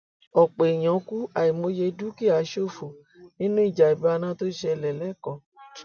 ọpọ èèyàn kù àìmọye dúkìá ṣòfò nínú ìjàmbá iná tó ṣẹlẹ lẹkọọ